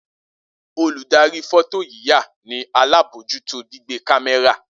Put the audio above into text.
Oludari fọtoyiya ni alabojuto gbigbe kamẹra.